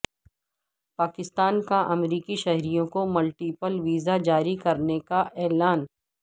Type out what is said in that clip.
پاکستان کا امریکی شہریوں کو ملٹی پل ویزاجاری کرنے کا اعلان